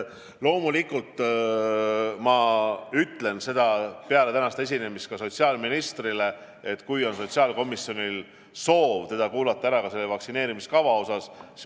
Loomulikult ma ütlen peale tänast esinemist ka sotsiaalministrile, et sotsiaalkomisjonil on soov teda ära kuulata ja ta peaks andma ülevaate vaktsineerimiskavast.